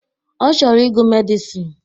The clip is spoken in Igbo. Ọ chọrọ ịgụ Medịsịn